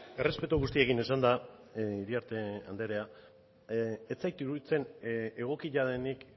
errespetu guztiekin esanda iriarte andrea ez zait iruditzen egokia denik